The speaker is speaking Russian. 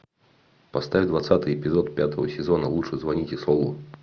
поставь двадцатый эпизод пятого сезона лучше звоните солу